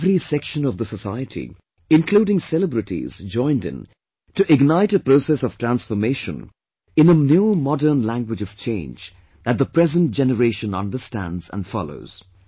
Every section of the society including celebrities joined in to ignite a process of transformation in a new modern language of change that the present generation understands and follows